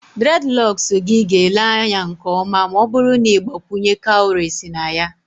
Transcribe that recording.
Dreadlocks gị ga-ele anya nke ọma ma ọ bụrụ na ị gbakwunye cowries na ya